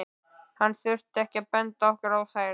Hann þurfti ekki að benda okkur á þær.